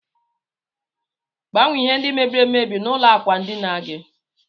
Gbanwe ihe ndi mebiri emebi na ụlọ akwa ndina gi.